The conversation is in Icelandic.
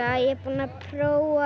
er búin að prófa